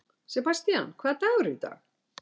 Sebastían, hvaða dagur er í dag?